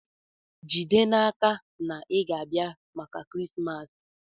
Jide n'aka na ị ga-abịa maka Krismas!